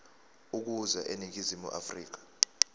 ukuza eningizimu afrika